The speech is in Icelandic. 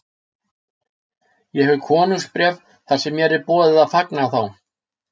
Ég hef konungsbréf þar sem mér er boðið að fanga þá.